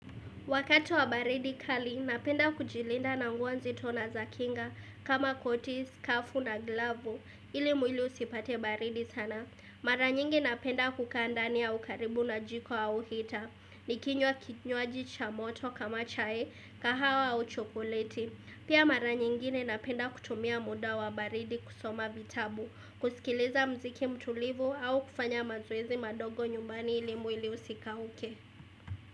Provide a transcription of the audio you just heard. Wakati wa baridi kali, napenda kujilinda na nguo nzi to na za kinga kama koti skafu na glavu ili mwili usipate baridi sana. Mara nyingi napenda kukaandania ukaribu na jiko au hita. Nikinywa kinywa jicha moto kama chai, kahawa au chokoleti. Pia mara nyingine napenda kutumia muda wa baridi kusoma vitabu, kusikiliza mziki mtulivu au kufanya mazoezi madogo nyumbani ili mwili usikauke.